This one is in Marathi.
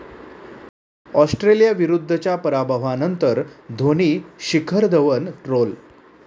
ऑस्ट्रेलियाविरूद्धच्या पराभवानंतर धोनी, शिखर धवन ट्रोल